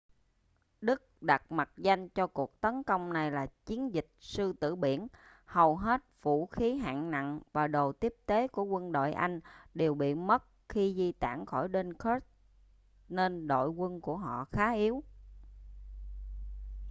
đức đặt mật danh cho cuộc tấn công này là chiến dịch sư tử biển hầu hết vũ khí hạng nặng và đồ tiếp tế của quân đội anh đều bị mất khi di tản khỏi dunkirk nên đội quân của họ khá yếu